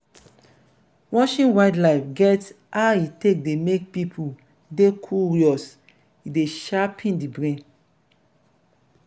watching wild life get how e take dey make pipo dey curious e dey sharpen di brain